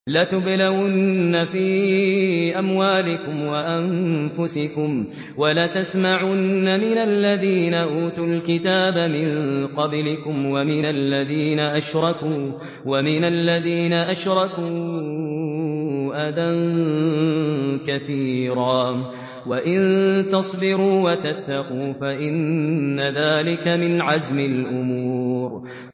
۞ لَتُبْلَوُنَّ فِي أَمْوَالِكُمْ وَأَنفُسِكُمْ وَلَتَسْمَعُنَّ مِنَ الَّذِينَ أُوتُوا الْكِتَابَ مِن قَبْلِكُمْ وَمِنَ الَّذِينَ أَشْرَكُوا أَذًى كَثِيرًا ۚ وَإِن تَصْبِرُوا وَتَتَّقُوا فَإِنَّ ذَٰلِكَ مِنْ عَزْمِ الْأُمُورِ